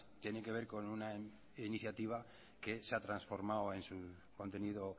tiene que ver con una iniciativa que se ha transformado en su contenido